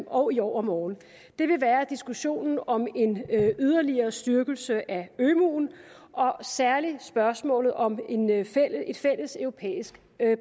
og i overmorgen vil være diskussionen om en yderligere styrkelse af ømuen særligt spørgsmålet om et fælles europæisk